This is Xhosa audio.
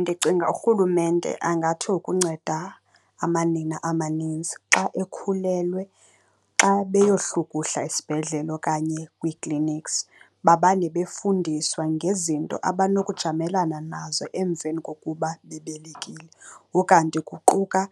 Ndicinga urhulumente angatsho ukunceda amanina amaninzi xa ekhulelwe xa beyohlukuhla esibhedlele okanye kwii-clinics, bamane befundiswa ngezinto abanokujamelana nazo emveni kokuba bebelekile. Ukanti kuquka